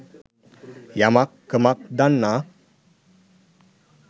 යමක් කමක් දන්නා